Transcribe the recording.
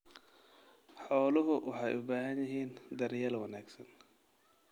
Xooluhu waxay u baahan yihiin daryeel wanaagsan.